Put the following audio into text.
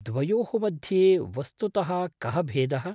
द्वयोः मध्ये वस्तुतः कः भेदः?